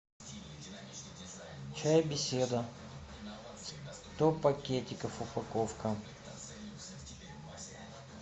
чай беседа сто пакетиков упаковка